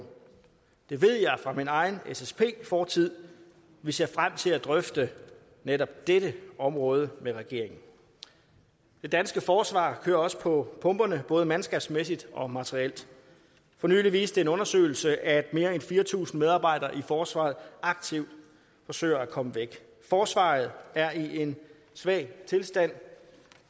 det ved jeg fra min egen ssp fortid vi ser frem til at drøfte netop dette område med regeringen det danske forsvar kører også på pumperne både mandskabsmæssigt og materielt for nylig viste en undersøgelse at mere end fire tusind medarbejdere i forsvaret aktivt forsøger at komme væk forsvaret er i en svag tilstand